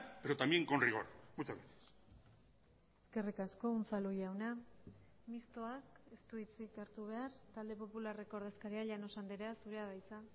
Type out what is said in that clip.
pero también con rigor muchas gracias eskerrik asko unzalu jauna mistoa ez du hitzik hartu behar talde popularreko ordezkaria llanos andrea zurea da hitza